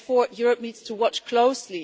Therefore, Europe needs to watch closely.